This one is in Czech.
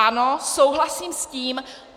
Ano, souhlasím s tím.